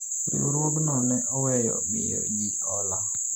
riwruogno ne oweyo miyo jii hola